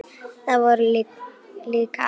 Það voru líka aðrir tímar.